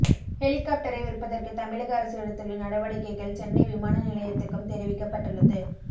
ஹெலிகாப்டரை விற்பதற்கு தமிழக அரசு எடுத்துள்ள நடவடிக்கைகள் சென்னை விமான நிலையத்துக்கும் தெரிவிக்கப்பட்டுள்ளது